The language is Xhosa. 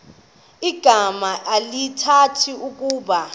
igama elithetha ukuba